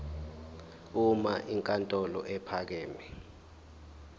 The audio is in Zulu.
uma inkantolo ephakeme